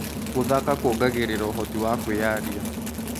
Gũthaka kuongagĩrĩra ũhoti wa kwĩyaria.